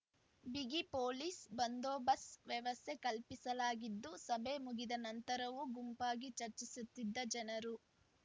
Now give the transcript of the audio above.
ಬಿಗಿ ಪೊಲೀಸ್ ಬಂದೋಬಸ್ತ್ ವ್ಯವಸ್ಥೆ ಕಲ್ಪಿಸಲಾಗಿದ್ದು ಸಭೆ ಮುಗಿದ ನಂತರವೂ ಗುಂಪಾಗಿ ಚರ್ಚಿಸುತ್ತಿದ್ದ ಜನರು